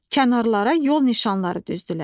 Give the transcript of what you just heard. Kənarlara yol nişanları düzdülər.